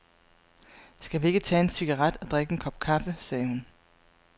Skal vi ikke tage en cigaret og drikke en kop kaffe, sagde hun.